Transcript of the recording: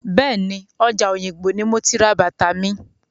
Bẹ́ẹ̀ni, ọjà Òyìngbò ní mo ti ra bàtà mi.